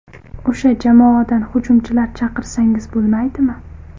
O‘sha jamoadan hujumchilar chaqirsangiz bo‘lmaydimi?